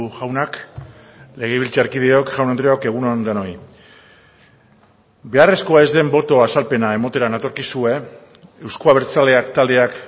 jaunak legebiltzarkideok jaun andreok egun on denoi beharrezkoa ez den boto azalpena ematera natorkizue euzko abertzaleak taldeak